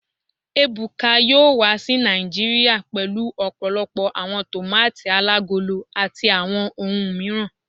Ebuka yoo wa si Naijiria pẹlu ọpọlọpọ awọn tomati alagolo ati awọn ohun miiran